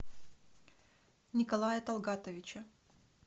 николая талгатовича